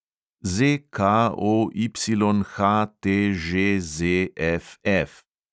ZKOYHTŽZFF